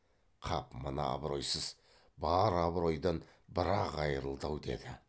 қап мына абыройсыз бар абыройдан бір ақ айрылды ау деді